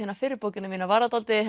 fyrri bókina mína var það dálítið